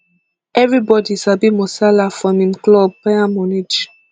evribodi sabi musiala from im club bayern munich